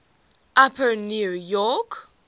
upper new york